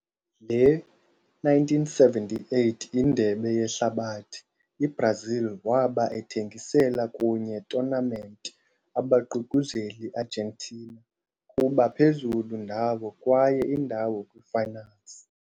Le - 1978 Indebe Yehlabathi, i-Brazil waba ethengisela kunye tournament abaququzeli Argentina kuba phezulu ndawo kwaye indawo kwii-finals.